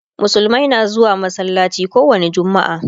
musulmai na zuwa masallaci kowani jumma'a